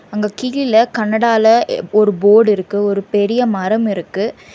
அங்க கீழ கனடால ஒரு போர்டு இருக்கு ஒரு பெரிய மரம் இருக்கு.